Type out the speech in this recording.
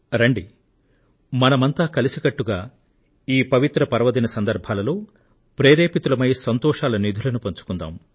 రండి మనమంతా కలిసికట్టుగా ఈ పవిత్ర పర్వదిన సందర్భాలలో ప్రేరితులమై సంతోషాల నిధులను పంచుకుందాం